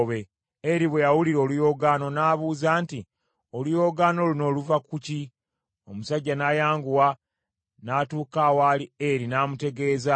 Eri bwe yawulira oluyoogaano n’abuuza nti, “Oluyoogaano luno luva ku ki?” Omusajja n’ayanguwa n’atuuka awaali Eri n’amutegeeza.